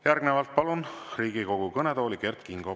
Järgnevalt palun Riigikogu kõnetooli Kert Kingo.